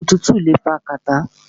Òtútù le fa kàtá.